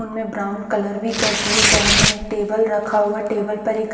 उनमें brown colour भी कर दिए गए हैं एक टेबल रखा हुआ टेबल पर एक--